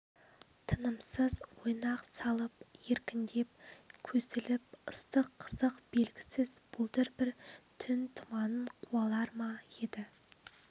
тынымсыз ойнақ салып еркіндеп көсіліп ыстық қызық белгісіз бұлдыр бір түн тұманын қуалар ма еді